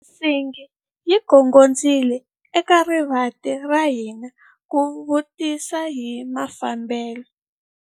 Nsingi yi gongondzile eka rivanti ra hina ku vutisa hi mafambelo.